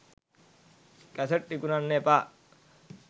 cassette විකුණන්න එපා